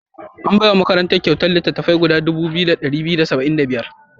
An bai wa makarantar kyautar littattafai guda dubu ɗaya da ɗari biyu da saba'in da biyar.